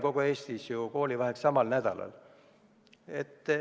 Kogu Eestis ei pea ju koolivaheaeg olema samal nädalal.